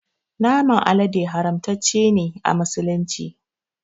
Naman alade haramtace ne a musulunci